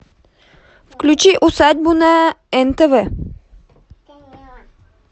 включи усадьбу на нтв